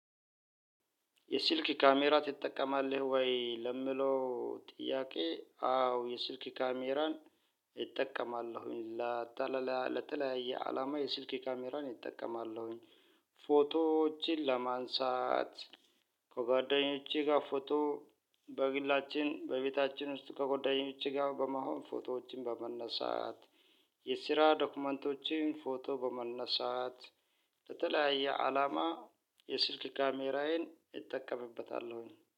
የስልክ ካሜራ ትጠቀማለህ ወይ? ለሚለው ጥያቄ፥ አዎ የስልክ ካሜራን እጠቀማለሁኝ ለተለያየ ለተለያየ አላማ የስልክ ካሜራን እጠቀማለሁኝ። ፎቶዎችን ለማንሳት፤ ከጓደኞቼ ጋር ፎቶ በግላችን በቤታችን ውስጥ ከጓደኞቼ ጋር በመሆን ፎቶዎችን በመነሳት የስራ ዶክመንቶችን ፎቶ በማንሳት የተለያየ አላማ የስልክ ካሜራዬን እጠቀምበታለሁኝ።